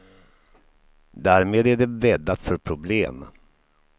Därmed är det bäddat för problem.